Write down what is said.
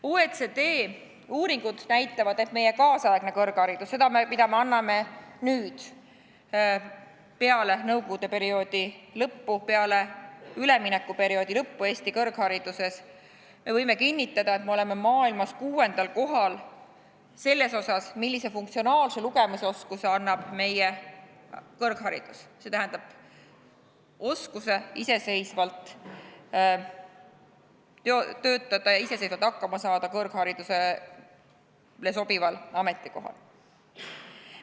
OECD uuringud näitavad, et meie kaasaegne kõrgharidus, mida me anname peale nõukogude perioodi lõppu, peale üleminekuperioodi lõppu, on maailmas kuuendal kohal selles osas, millise funktsionaalse lugemisoskuse see annab, st oskuse iseseisvalt töötada ja iseseisvalt kõrgharidusele sobival ametikohal hakkama saada.